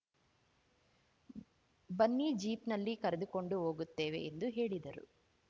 ಬನ್ನಿ ಜೀಪ್‌ನಲ್ಲಿ ಕರೆದುಕೊಂಡು ಹೋಗುತ್ತೇವೆ ಎಂದು ಹೇಳಿದರು